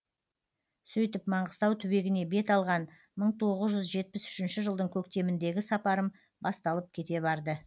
сөйтіп маңғыстау түбегіне бет алған мың тоғыз жүз жетпіс үшінші жылдың көктеміндегі сапарым басталып кете барды